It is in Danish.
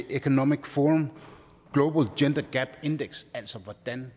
economic forum global gender gap index altså hvordan